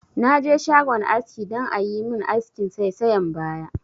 Na je shagon aski dan a yi mun askin saisayan baya